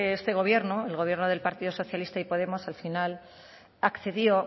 este gobierno el gobierno del partido socialista y podemos al final accedió